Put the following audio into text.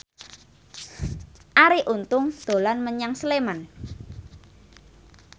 Arie Untung dolan menyang Sleman